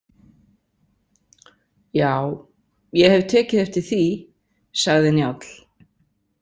Já, ég hef tekið eftir því, sagði Njáll.